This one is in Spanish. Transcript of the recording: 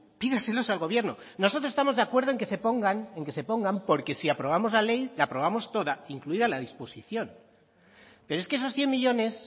pídaselos al gobierno nosotros estamos de acuerdo en que se pongan en que se pongan porque si aprobamos la ley la aprobamos toda incluida la disposición pero es que esos cien millónes